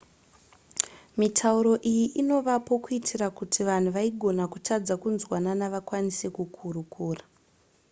mitauro iyi inovapo kuitira kuti vanhu vaigona kutadza kunzwanana vakwanise kukurukura